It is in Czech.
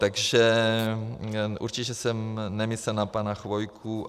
Takže určitě jsem nemyslel na pana Chvojku.